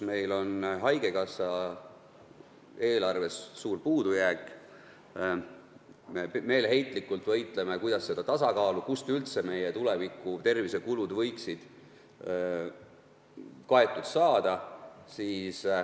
Meil on haigekassa eelarves suur puudujääk, me meeleheitlikult võitleme, et saavutada tasakaalu, kuidas üldse tuleviku tervisekulud võiksid kaetud saada.